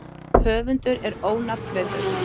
Höfundur er ónafngreindur.